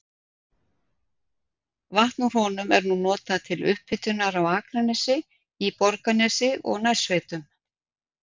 Vatn úr honum er nú notað til upphitunar á Akranesi, í Borgarnesi og nærsveitum.